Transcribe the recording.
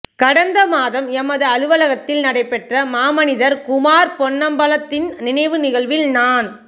கடந்த மாதம் எமது அலுவலகத்தில் நடைபெற்ற மாமனிதர் குமார் பொன்னம்பலத்தின் நினைவு நிகழ்வில் நான்